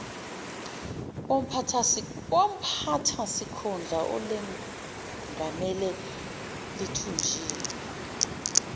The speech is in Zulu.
womphathisikhundla olengamele lithunjiwe